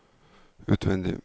utvendig